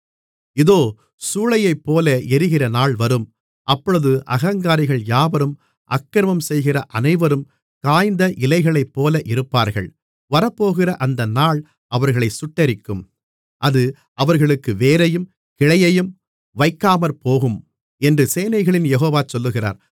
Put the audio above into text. இதோ சூளையைப்போல எரிகிற நாள் வரும் அப்பொழுது அகங்காரிகள் யாவரும் அக்கிரமம் செய்கிற அனைவரும் காய்ந்த இலைகளைப்போல இருப்பார்கள் வரப்போகிற அந்த நாள் அவர்களைச் சுட்டெரிக்கும் அது அவர்களுக்கு வேரையும் கிளையையும் வைக்காமற்போகும் என்று சேனைகளின் யெகோவா சொல்லுகிறார்